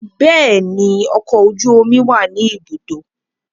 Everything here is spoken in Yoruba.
Bẹẹni, ọkọ oju omi wa ni ibudo